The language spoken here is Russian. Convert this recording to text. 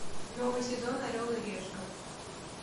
новый сезон орел и решка